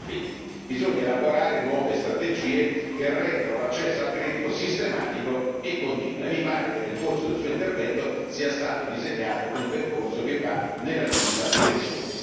2020. Bisogna elaborare nuove strategie che rendano l'accesso al credito sistematico e continuo, e mi pare che nel corso del suo intervento sia stato disegnato un percorso che va nella giusta direzione.